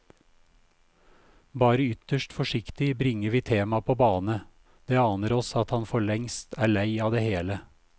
Bare ytterst forsiktig bringer vi temaet på bane, det aner oss at han forlengst er lei av det hele.